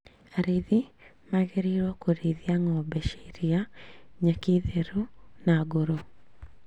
Arithi magĩrĩirwo kũrĩithia ng'ombe cia iria nyeki therũ na ngũrũ